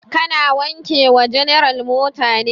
Ka na wanke wa general mota ne?